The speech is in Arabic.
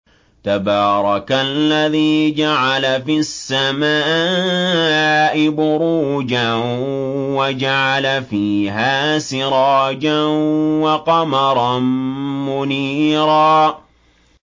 تَبَارَكَ الَّذِي جَعَلَ فِي السَّمَاءِ بُرُوجًا وَجَعَلَ فِيهَا سِرَاجًا وَقَمَرًا مُّنِيرًا